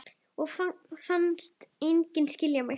Og fannst enginn skilja mig.